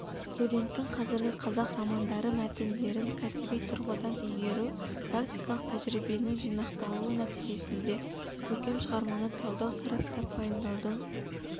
студенттің қазіргі қазақ романдары мәтіндерін кәсіби тұрғыдан игеруі практикалық тәжірибенің жинақталуы нәтижесінде көркем шығарманы талдау сараптап-пайымдаудың